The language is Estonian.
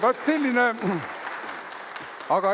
Vaat selline lugu.